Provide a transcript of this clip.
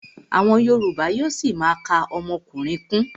Àwọn yorùbá yóó ṣima ka ọmọkùnrin kún.